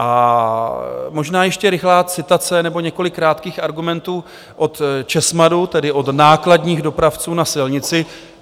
A možná ještě rychlá citace nebo několik krátkých argumentů od ČESMADu, tedy od nákladních dopravců na silnici.